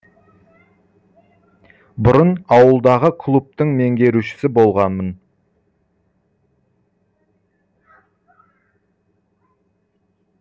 бұрын ауылдағы клубтың меңгерушісі болғанмын